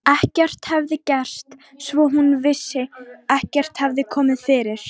Ekkert hafði gerst, svo hún vissi, ekkert hafði komið fyrir.